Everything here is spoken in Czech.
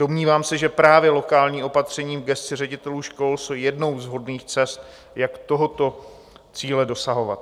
Domnívám se, že právě lokální opatření v gesci ředitelů škol jsou jednou z vhodných cest, jak tohoto cíle dosahovat.